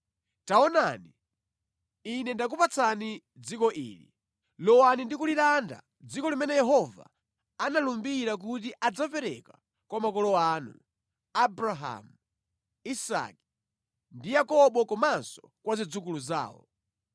Taonani, Ine ndakupatsani dziko ili. Lowani ndi kulilanda dziko limene Yehova analumbira kuti adzapereka kwa makolo anu, Abrahamu, Isake ndi Yakobo komanso kwa zidzukulu zawo.”